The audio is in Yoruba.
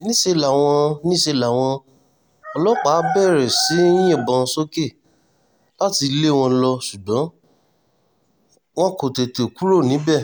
níṣẹ́ làwọn níṣẹ́ làwọn ọlọ́pàá bẹ̀rẹ̀ sí í yìnbọn sókè láti lé wọn lọ ṣùgbọ́n wọn kò tètè kúrò níbẹ̀